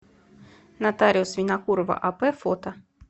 нотариус винокурова ап фото